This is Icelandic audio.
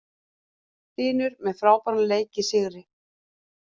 Hlynur með frábæran leik í sigri